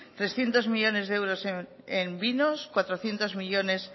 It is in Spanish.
trescientos millónes de euros en vinos cuatrocientos millónes